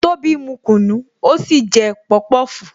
Tobi mu kunu, ó sì jẹ pọpọfu